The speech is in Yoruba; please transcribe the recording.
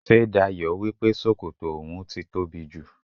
Ṣé Dayọ̀ wípé sókótó oun ti tóbi jù?